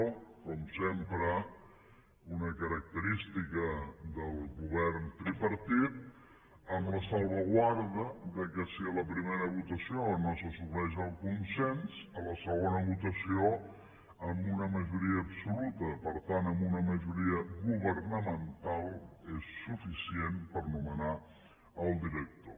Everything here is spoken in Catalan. com sempre una característica del govern tripartit amb la salvaguarda que si a la primera votació no s’assoleix el consens a la segona votació amb una majoria absoluta per tant amb una majoria governamental és suficient per nomenar el director